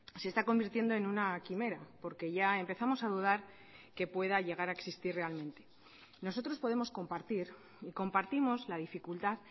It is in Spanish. se está convirtiendo en una quimera porque ya empezamos a dudar que pueda llegar a existir realmente nosotros podemos compartir y compartimos la dificultad